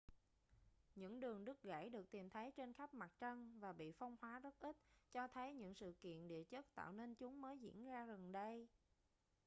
những đường đứt gãy được tìm thấy trên khắp mặt trăng và bị phong hóa rất ít cho thấy những sự kiện địa chất tạo nên chúng mới diễn ra gần đây